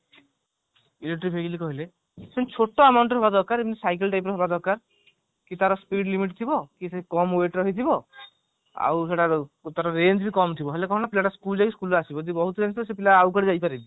electric vehicle କହିଲେ ସେମତି ଛୋଟ amount ର ହବା ଦରକାର ଯେମତି cycle type ର ହବା ଦରକାର କି ତାର speed limit ଥିବ କମ weight ର ହେଇଥିବ ଆଉ ସେଟା କୁ ତାର range ବି କମ ଥିବ ହେଲେ କଣ ହେବ ନା ପିଲା ଟା school ଯାଉଛି school ରୁ ଆସିବ ବହୁତ ହେଲେ ତ ସେ ପିଲା ଆଉ କୁଆଡେ ଯାଇପାରେ